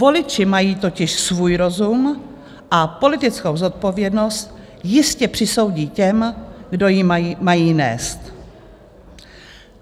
Voliči mají totiž svůj rozum a politickou zodpovědnost jistě přisoudí těm, kdo ji mají nést.